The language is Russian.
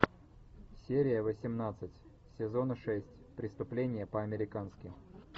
серия восемнадцать сезона шесть преступление по американски